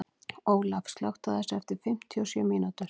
Olaf, slökktu á þessu eftir fimmtíu og sjö mínútur.